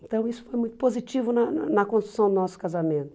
Então isso foi muito positivo na na construção do nosso casamento.